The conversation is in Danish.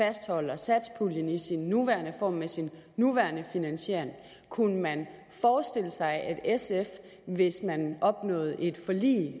fastholder satspuljen i sin nuværende form med sin nuværende finansiering kunne man forestille sig at sf hvis man opnåede et forlig